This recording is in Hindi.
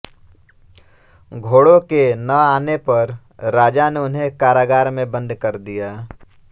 घोड़ो के न आने पर राजा ने उन्हें कारागार में बंद कर दिया